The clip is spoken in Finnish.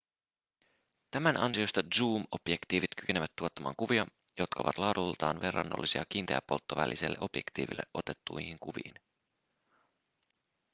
tämän ansiosta zoom-objektiivit kykenevät tuottamaan kuvia jotka ovat laadultaan verrannollisia kiinteäpolttovälisellä objektiivilla otettuihin kuviin